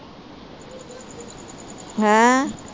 ਹੈਂ?